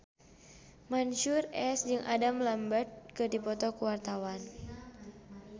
Mansyur S jeung Adam Lambert keur dipoto ku wartawan